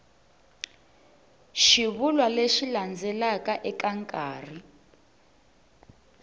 xivulwa lexi landzelaka eka nkarhi